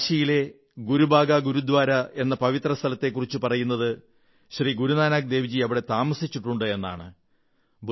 കാശിയിലെ ഗുരുബാഗ ഗുരുദ്വാര എന്ന പവിത്ര സ്ഥലത്തെക്കുറിച്ചു പറയുന്നത് ശ്രീ ഗുരുനാനക് ദേവ്ജി അവിടെ താമസിച്ചിട്ടുണ്ടെന്നാണ്